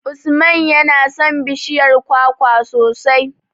Usman yana son bishiyar kwakwa sosai.